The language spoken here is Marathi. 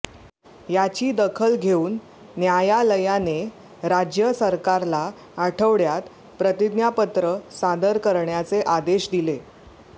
याची दखल घेऊन न्यायालयाने राज्य सरकारला आठवड्यात प्रतिज्ञापत्र सादर करण्याचे आदेश दिले